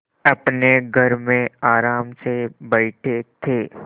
अपने घर में आराम से बैठे थे